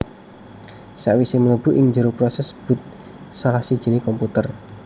Sakwisé mlebu ing njero prosès boot salah sijiné komputer